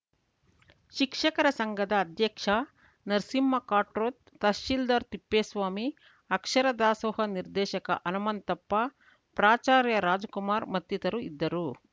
ಶಿಕ್ಷಕರ ಸಂಘದ ಅಧ್ಯಕ್ಷ ನರಸಿಂಹ ಖಾಟ್ರೋತ್‌ ತಹಶಿಲ್ದಾರ್‌ ತಿಪ್ಪೇಸ್ವಾಮಿ ಆಕ್ಷರ ದಾಸೋಹ ನಿರ್ದೇಶಕ ಹನುಮಂತಪ್ಪ ಪ್ರಾಚಾರ್ಯ ರಾಜಕುಮಾರ್‌ ಮತ್ತಿತರು ಇದ್ದರು